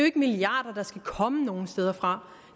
ikke milliarder der skal komme nogle steder fra